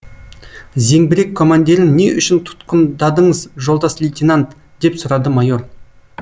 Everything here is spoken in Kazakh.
зеңбірек командирін не үшін тұтқындадыңыз жолдас лейтенант деп сұрады майор